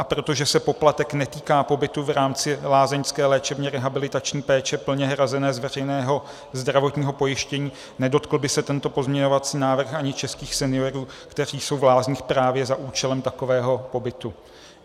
A protože se poplatek netýká pobytu v rámci lázeňské léčebně rehabilitační péče plně hrazené z veřejného zdravotního pojištění, nedotkl by se tento pozměňovací návrh ani českých seniorů, kteří jsou v lázních právě za účelem takového pobytu.